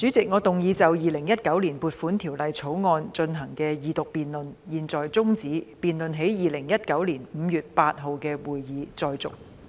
主席，我動議就《2019年撥款條例草案》進行的二讀辯論現在中止，辯論在2019年5月8日的會議再續。